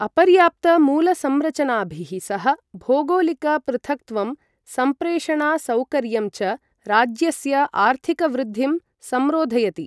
अपर्याप्तमूलसंरचनाभिः सह भौगोलिकपृथक्त्वं संप्रेषणासौकर्यं च राज्यस्य आर्थिकवृद्धिं संरोधयति।